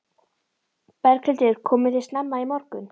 Berghildur: Komuð þið snemma í morgun?